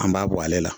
An b'a bɔ ale la